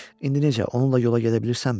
İndi necə, onunla yola gedə bilirsənmi?